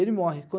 Ele morre.